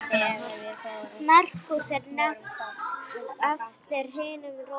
merkúríus er nefnd eftir hinum rómverska guði verslunar